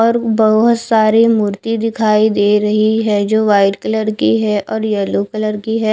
और भोत साड़ी मूर्ति दिखाई दे रही है जो वाइट कलर की है और येलो कलर की है।